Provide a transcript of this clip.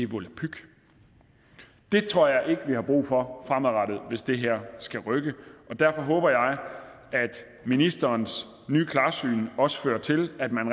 volapyk det tror jeg ikke vi har brug for fremadrettet hvis det her skal rykke derfor håber jeg at ministerens nye klarsyn også fører til at man